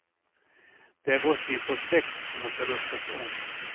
Det är vår syn på sex som måste ruskas om.